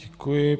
Děkuji.